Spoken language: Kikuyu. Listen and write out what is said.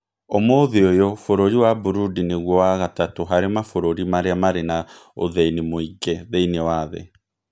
Ũmũthĩ ũyũ bũrũri wa Burundi nĩguo wa gatatũ harĩ mabũrũri arĩa marĩ na ũthĩni mũingĩ thĩinĩ wa thĩ.